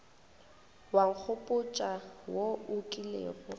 wa nkgopotša wo o kilego